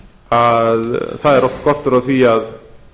að það er oft skortur á því að